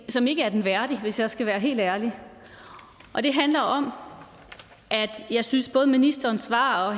som ikke er den værdig hvis jeg skal være helt ærlig og det handler om at jeg synes at både ministerens svar og